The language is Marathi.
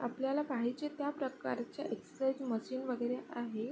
आपल्याला पाहिजे त्या प्रकारचे एक्सरसाइज मशीन वगैरे आहे.